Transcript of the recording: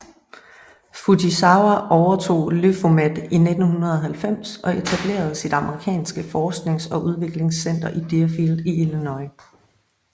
Fujisawa overtog Lyphomed i 1990 og etablerede sit amerikanske forsknings og udviklingscenter i Deerfield i Illinois